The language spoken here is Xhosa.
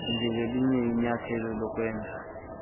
njengelinye inyathelo lokwenza